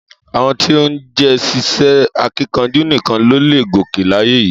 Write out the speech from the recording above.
Àwọn tí ó jé ṣíṣe akíkanjú nìkan ló leè gòkè láyé yìí